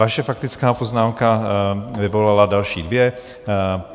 Vaše faktická poznámka vyvolala další dvě.